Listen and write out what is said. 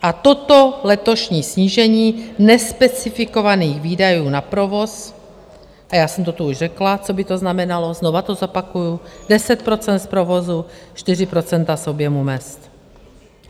A toto letošní snížení nespecifikovaných výdajů na provoz - a já jsem to tu už řekla, co by to znamenalo, znovu to zopakuji: 10 % z provozu, 4 % z objemu mezd.